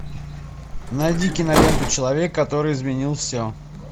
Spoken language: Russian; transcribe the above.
найди киноленту человек который изменил все